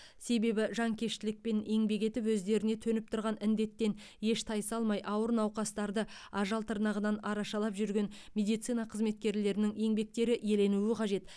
себебі жанкештілікпен еңбек етіп өздеріне төніп тұрған індеттен еш тайсалмай ауыр науқастарды ажал тырнағынан арашалап жүрген медицина қызметкерлерінің еңбектері еленуі қажет